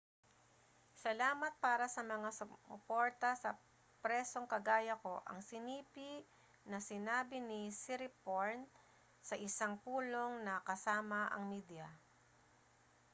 salamat para sa mga sumuporta sa presong kagaya ko ang sinipi na sinabi ni siriporn sa isang pulong na kasama ang media